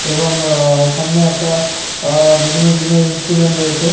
এবং আ সামনে একটা অ-অ বিভিন্ন জিমের ইনস্ট্রুমেন্ট রয়েছে।